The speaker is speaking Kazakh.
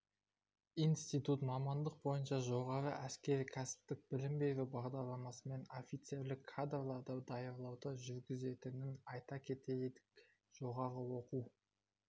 институт мамандық бойынша жоғары әскери-кәсіптік білім беру бағдарламасымен офицерлік кадрларды даярлауды жүргізетінін айта кетейік жоғары оқу